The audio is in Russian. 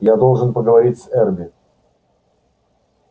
я должен поговорить с эрби